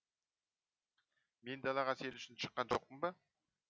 мен далаға сен үшін шыққан жоқпын ба